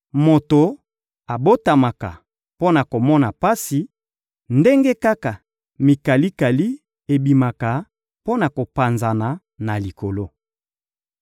moto abotamaka mpo na komona pasi, ndenge kaka mikalikali ebimaka mpo na kopanzana na likolo.